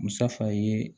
Musafa ye